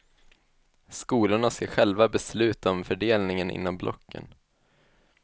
Skolorna ska själva besluta om fördelningen inom blocken.